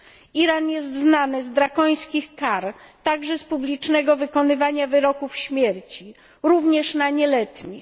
Iran jest znany z drakońskich kar, także z publicznego wykonywania wyroków śmierci, również na nieletnich.